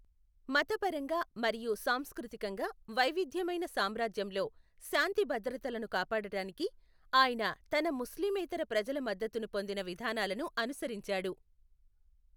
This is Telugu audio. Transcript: మతపరంగా మరియు సాంస్కృతికంగా వైవిధ్యమైన సామ్రాజ్యంలో శాంతిభద్రతలను కాపాడటానికి, ఆయన తన ముస్లిమేతర ప్రజల మద్దతును పొందిన విధానాలను అనుసరించాడు.